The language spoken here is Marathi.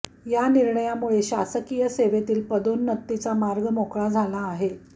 या निर्णयामुळे शासकीय सेवेतील पदोन्नतीचा मार्ग मोकळा झाला आहे